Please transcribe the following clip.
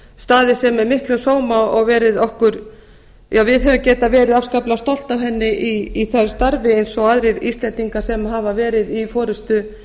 staðið sig með miklum sóma og við höfum getað verið afskaplega stolt af henni i því starfi eins og öðrum íslendingum sem hafa verið í forustu